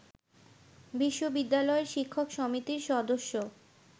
বিশ্ববিদ্যালয়ের শিক্ষক সমিতির সদস্য